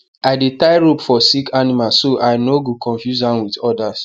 i dey tie rope for sick animal so i no go confuse am with others